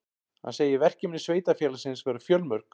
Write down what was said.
Hann segir verkefni sveitarfélagsins vera fjölmörg